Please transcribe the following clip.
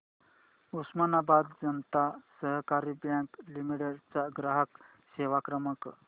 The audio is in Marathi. उस्मानाबाद जनता सहकारी बँक लिमिटेड चा ग्राहक सेवा क्रमांक